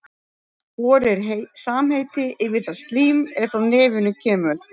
Hor er samheiti yfir það slím er frá nefinu kemur.